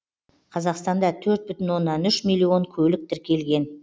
қазақстанда төрт бүтін оннан үш миллион көлік тіркелген